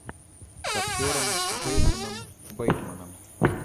с актером джейсоном бейтманом